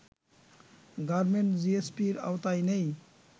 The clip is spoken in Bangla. গার্মেন্ট জিএসপির আওতায় নেই